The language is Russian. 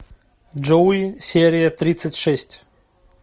джоуи серия тридцать шесть